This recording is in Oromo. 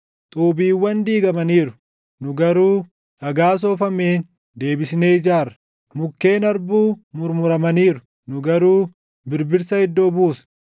“Xuubiiwwan diigamaniiru; nu garuu dhagaa soofameen deebisnee ijaarra; mukkeen harbuu murmuramaniiru; nu garuu birbirsa iddoo buusna.”